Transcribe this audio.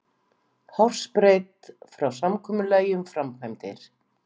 Hársbreidd frá samkomulagi um framkvæmdir